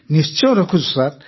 ନିଶ୍ଚୟ ରଖୁଛୁ ସାର୍